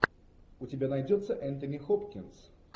у тебя найдется энтони хопкинс